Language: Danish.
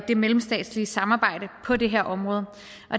det mellemstatslige samarbejde på det her område